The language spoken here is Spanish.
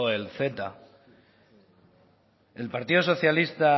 el ceta el partido socialista